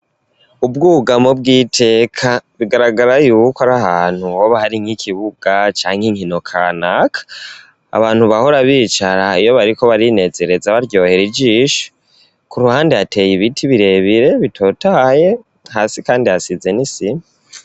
Ubwugamo bw'iteka bigaragara yuko ari ahantu hoba hari nk'ikibuga canke inkino kanaka abantu bahora bicara iyo bariko barinezereza baryohera ijisho ku ruhande hateye ibiti birebire bitotaye hasi kandi hasize n'isima.